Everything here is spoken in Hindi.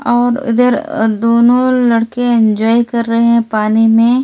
और इधर दोनों लड़के एन्जॉय कर रहे पानी में यहाँ।